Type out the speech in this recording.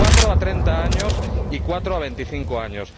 cuatro, a treinta años y cuatro, a veinticinco años.